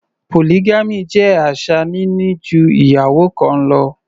Polygamy jẹ́ àṣà níní ju ìyàwó kan lọ.